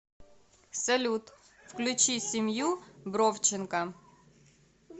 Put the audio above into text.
салют включи семью бровченко